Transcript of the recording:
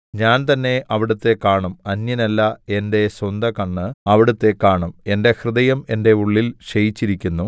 ഞാൻ തന്നെ അവിടുത്തെ കാണും അന്യനല്ല എന്റെ സ്വന്തകണ്ണ് അവിടുത്തെ കാണും എന്റെ ഹൃദയം എന്റെ ഉള്ളിൽ ക്ഷയിച്ചിരിക്കുന്നു